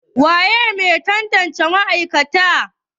waye Mai tantance ma'aikatan?